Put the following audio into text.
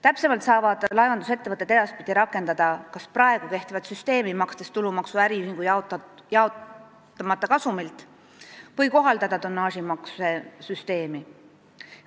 Täpsemalt, laevandusettevõtted saavad edaspidi rakendada kas praegu kehtivat süsteemi, makstes tulumaksu äriühingu jaotamata kasumilt, või kohaldada tonnaažimaksusüsteemi.